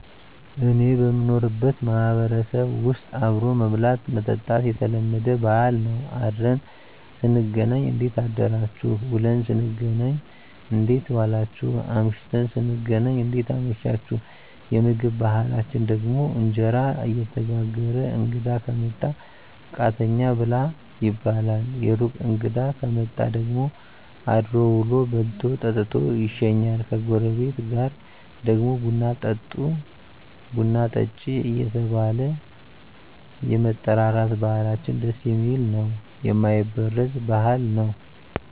እኔ በምኖርበት ማህበረሰብ ዉስጥ አብሮ መብላት መጠጣት የተለመደ ባህል ነዉ አድረን ስንገናኝ እንዴት አደራችሁ ዉለን ስንገናኝ እንዴት ዋላችሁ አምሽተን ስንገናኝ እንዴት አመሻችሁየምግብ ባህላችን ደግሞ እንጀራ እየተጋገረ እንግዳ ከመጣ ቃተኛ ብላ ይባላል የሩቅ እንግዳ ከመጣ ደግሞ አድሮ ዉሎ በልቶ ጠጥቶ ይሸኛል ከጎረቤት ጋር ደግሞ ቡና ጠጦ ቡና ጠጭ እየተባባለ የመጠራራት ባህላችን ደስ የሚል ነዉ የማይበረዝ ባህል ነዉ